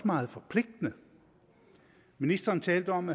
meget forpligtende ministeren talte om